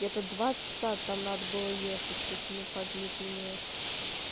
это два часа там надо было ехать если мне память не изменяет